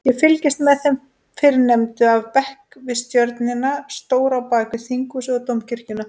Ég fylgist með þeim fyrrnefndu af bekk við tjörnina stóru á bakvið Þinghúsið og Dómkirkjuna.